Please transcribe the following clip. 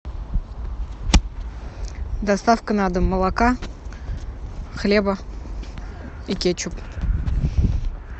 доставка на дом молока хлеба и кетчуп